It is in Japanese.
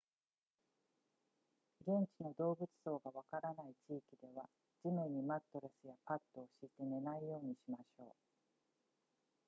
現地の動物相がわからない地域では地面にマットレスやパッドを敷いて寝ないようにしましょう